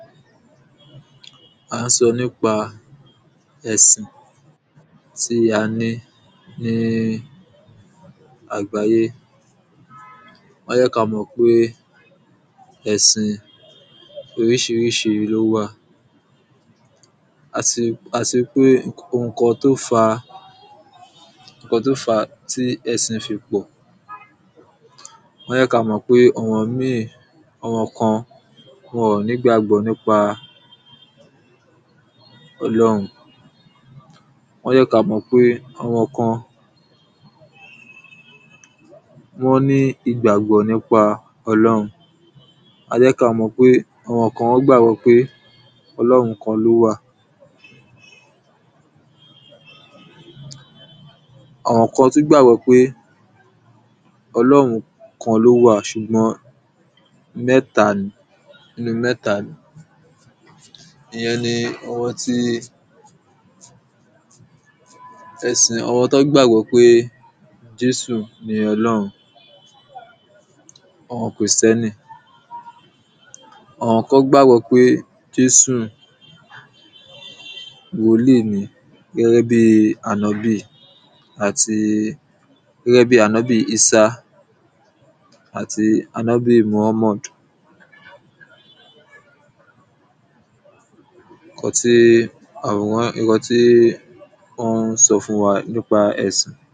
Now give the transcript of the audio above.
À ń so̩ nípa è̩sìn tí a ní ní àgbáyé. Wó̩n yé̩ ka mò̩ pé è̩sin orís̩irís̩i ló wà. àti àti ri pé ǹkan tó fa ǹkan tó fa tí è̩sìn fi pò̩ wón yé̩ ka mo̩ pé àwo̩n ìmíì àwo̩n ǹkan wón ǹ ní gbàgbo̩ nípa o̩ló̩run wón yé̩ ka mò̩ pé àwo̩n ǹkan wó̩n ní ìgbàgbó̩ nípa o̩ló̩run. A fé̩ ka mò̩ pé àwo̩n ǹkan wó̩n gbàgbo̩ pé o̩ló̩run kan ló wà. Àwo̩n ǹkan tún gbàgbó̩ pé o̩ló̩run kan ló wà s̩ùgbó̩n, mé̩ta ni ni mé̩ta ni ìye̩n ni àwo̩n ti e̩sìn, àwo̩n tó gbàgbó̩ pé jésù ni o̩ló̩run, àwo̩n krìstíánì. Àwo̩n ǹkan gbàgbó̩ pé jésù wòlí ni gé̩gé̩ bí ànóbì. àti gé̩gé̩ bí ànóbì ísá àti ànóbì mùhámàd. ǹkan tí um wó̩n so̩ fún wa nípa è̩sìn.